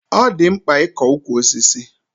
Ọ dị mkpa ịkọ ukwu osisi.